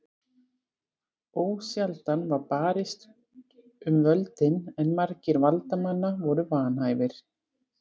Ósjaldan var barist um völdin en margir valdamanna voru vanhæfir.